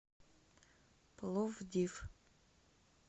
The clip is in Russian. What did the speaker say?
пловдив